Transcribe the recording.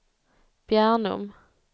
Bjärnum